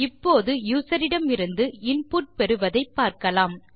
இப்போது யூசர் இடமிருந்து இன்புட் பெறுவதை பார்க்கலாம்